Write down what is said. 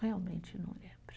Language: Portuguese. Realmente não lembro.